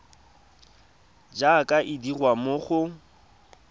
jaaka e dirwa mo go